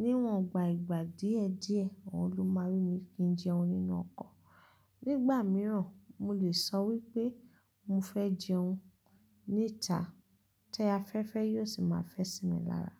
Níwọ̀n gba ìgbà díẹ̀díẹ̀, òun ló máa rí mi kí n jẹun nínú ọkọ̀. Nígbà mìíràn, mo lè sọ wí pé mo fẹ́ jẹun níta, ti afẹ́fẹ́ yóò sì máa fẹ́ sí mi lára.